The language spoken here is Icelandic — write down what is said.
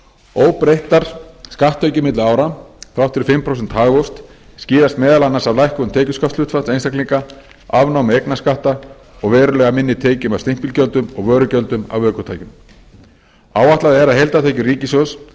óbreyttar skatttekjur milli ára þrátt fyrir fimm prósenta hagvöxt skýrast meðal annars af lækkun tekjuskattshlutfalls einstaklinga afnámi eignarskatta og verulega minni tekjum af stimpilgjöldum og vörugjöldum af ökutækjum áætlað er að heildartekjur ríkissjóðs